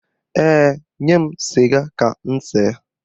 Ee, nye m sịga ka m see.